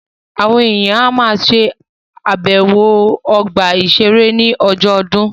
Àwọn èèyàn á ma ṣàbẹ̀wọ̀ ọgbà-ìṣeré ní ọjọ́ ọdún